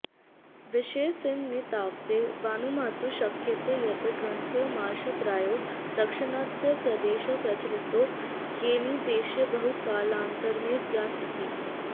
विषयेऽस्मिन्नेतावदेवानुमातुं शक्यते यद् ग्रन्थोऽयमार्षः प्रायो दाक्षिणात्यप्रदेशे प्रचलितो येनौदीच्यैर्बहुकालानन्तरमेव ज्ञात इति